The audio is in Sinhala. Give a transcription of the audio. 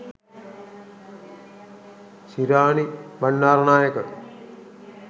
shirani bandaranayake